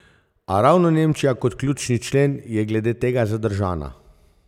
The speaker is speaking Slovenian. A ravno Nemčija kot ključni člen je glede tega zadržana.